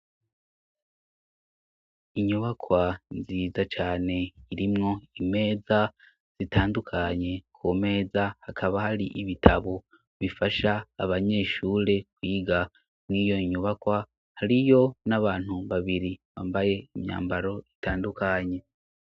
Inyubakwa nziza cane irimwo imeza zitandukanye, ku meza hakaba hari ibitabo bifasha abanyeshure kwiga, mw'iyo nyubakwa hariyo n'abantu babiri bambaye imyambaro itandukanye.